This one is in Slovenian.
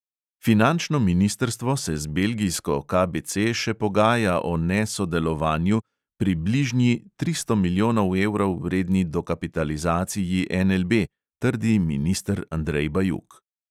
Finančno ministrstvo se z belgijsko KBC še pogaja o (ne)sodelovanju pri bližnji tristo milijonov evrov vredni dokapitalizaciji NLB, trdi minister andrej bajuk.